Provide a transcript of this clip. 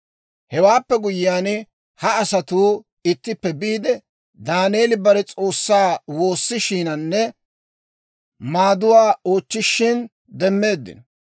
Hewaappe guyyiyaan, ha asatuu ittippe biide, Daaneeli bare S'oossaa woossishiinanne maaduwaa oochchishin demmeeddino.